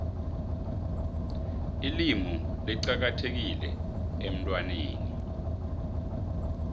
ilimu licakathekile emntwaneni